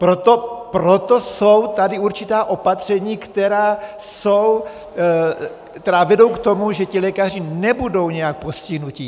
Proto jsou tady určitá opatření, která vedou k tomu, že ti lékaři nebudou nějak postihnuti.